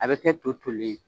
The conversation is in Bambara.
A bɛ kɛ to tolen